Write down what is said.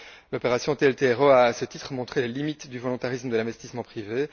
L'opération TLTRO a, à ce titre, montré les limites du volontarisme de l'investissement privé.